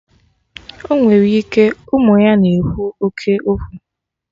Ọnwere ike, ụmụ ya na-ekwu oké okwu